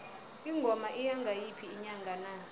ingoma iya ngayiphi inyanga na